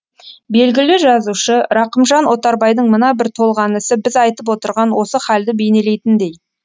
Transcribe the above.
белгілі жазушы рақымжан отарбайдың мына бір толғанысы біз айтып отырған осы халді бейнелейтіндей